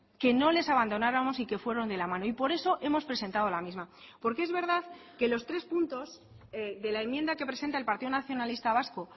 que no les abandonáramos y que fueron de la mano y por eso hemos presentado la misma porque es verdad que los tres puntos de la enmienda que presenta el partido nacionalista vasco